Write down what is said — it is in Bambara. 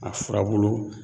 A furabulu